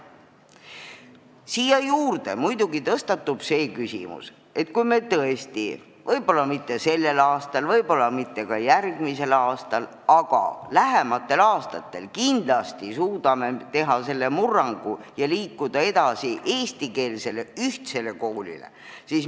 Siin muidugi tõstatub küsimus, et kui me tõesti – võib-olla mitte sellel aastal, võib-olla mitte ka järgmisel aastal, aga ehk lähematel aastatel – suudame teha selle murrangu ja liikuda edasi, luua eestikeelse ühtse koolisüsteemi.